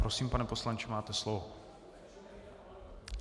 Prosím, pane poslanče, máte slovo.